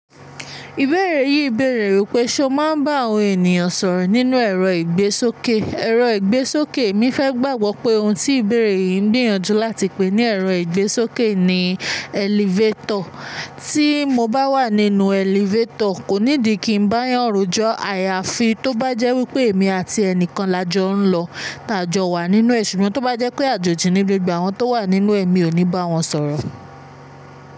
Ìbéèrè yìí bèèrè wípé, ṣé o máa ń bá àwọn ènìyàn sọ̀rọ̀ nínú ẹ̀rọ ìgbésókè? Ẹ̀rọ ìgbésókè, èmi fẹ́ gbàgbọ́ pé ohun tí ìbéèrè yìí ń gbìyànjú láti pè ní ẹ̀rọ ìgbésókè ni elevator. Tí mo bá wà nínú elevator, kò ní di kí n bá yànrín jó àyàfi tó bá jẹ́ wípé èmi àti ẹnìkan la jọ ń lọ, tá jọ wà nínú, ṣùgbọ́n tó bá jẹ́ pé a jòjì níbi ògbeàwọ́n tó wà nínú, èmi ò ní bá wọn sọ̀rọ̀.